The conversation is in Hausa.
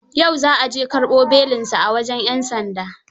Yau za a je karɓo belinsa aa wajen 'yan sanda.